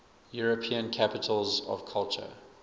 european capitals of culture